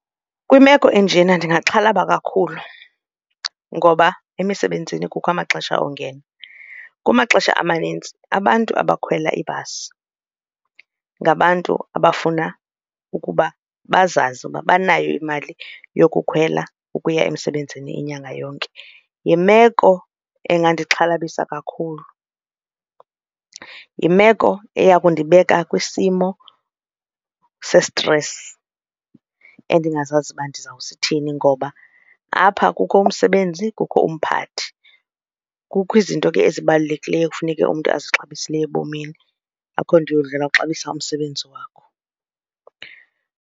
Kwimeko enjena ndingaxhalaba kakhulu ngoba emisebenzini kukho amaxesha ongena. Kumaxesha amanintsi abantu abakhwela ibhasi ngabantu abafuna ukuba bazazi uba banayo imali yokukhwela ukuya emsebenzini inyanga yonke. Yimeko engandixhalabisa kakhulu, yimeko eya kundibeka kwisimo sesistresi endingazaziyo uba ndizawusithini ngoba apha kukho umsebenzi kukho umphathi. Kukho izinto ke ezibalulekileyo kufuneke umntu ezixabisile ebomini, akho nto yodlala uxabisa umsebenzi wakho.